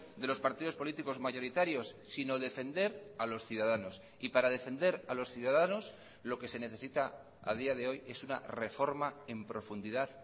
de los partidos políticos mayoritarios sino defender a los ciudadanos y para defender a los ciudadanos lo que se necesita a día de hoy es una reforma en profundidad